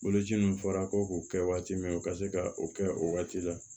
Boloci dun fɔra ko k'o kɛ waati min u ka se ka o kɛ o waati la